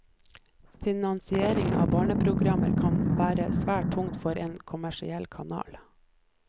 Finansieringen av barneprogrammer kan være svært tung for en kommersiell kanal.